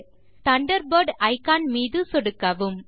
launcher இல் Thunderbird icon மீது சொடுக்கவும்